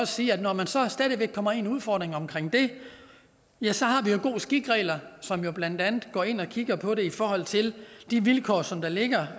sige at når man så stadig væk kommer ind i udfordringen omkring det ja så har vi jo god skik regler som jo blandt andet går ind og kigger på det i forhold til de vilkår som der ligger